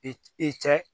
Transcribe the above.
I c i cɛ